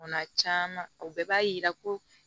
Bana caman o bɛɛ b'a yira ko